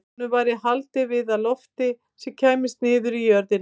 Honum væri haldið við af lofti sem kæmist niður í jörðina.